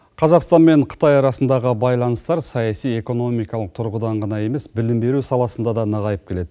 қазақстан мен қытай арасындағы байланыстар саяси экономикалық тұрғыдан ғана емес білім беру саласында да нығайып келеді